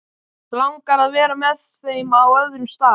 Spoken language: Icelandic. Langar að vera með þeim á öðrum stað.